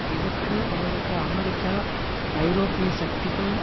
இதற்கு அவருக்கு அமெரிக்கா ஐரோப்பிய சக்திகள்